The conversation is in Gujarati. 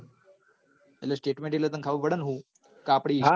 statement એટલ તન ખબર પદ હ અટલ હું આપડી